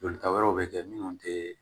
Jolita wɛrɛw bɛ kɛ minnu tɛ